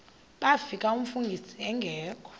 bafika umfundisi engekho